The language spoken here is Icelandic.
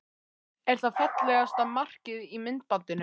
Er það fallegasta markið í myndbandinu?